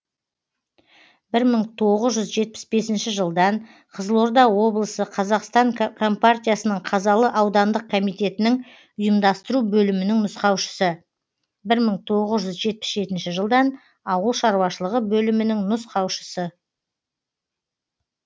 бір мың тоғыз жүз жетпіс бесінші жылдан қызылорда облысы қазақстан компартиясының қазалы аудандық комитетінің ұйымдастыру бөлімінің нұсқаушысыбір мың тоғыз жүз жетпіс жетінші жылдан ауыл шаруашылығы бөлімінің нұсқаушысы